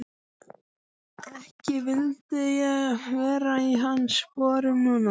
Ekki vildi ég vera í hans sporum núna.